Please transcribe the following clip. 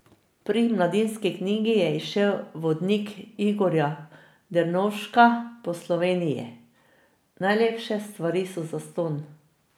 Pri Mladinski knjigi je izšel vodnik Igorja Drnovška po Sloveniji Najlepše stvari so zastonj.